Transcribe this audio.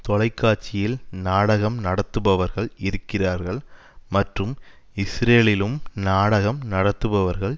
தொலைக்காட்சியில் நாடகம் நடத்துபவர்கள் இருக்கிறார்கள் மற்றும் இஸ்ரேலிலும் நாடகம் நடத்துபவர்கள்